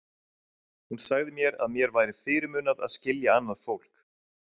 Hún sagði að mér væri fyrirmunað að skilja annað fólk.